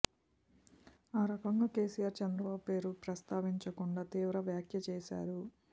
ఆ రకంగా కెసిఆర్ చంద్రబాబు పేరు ప్రస్తావించకుండా తీవ్ర వ్యాఖ్య చేశారు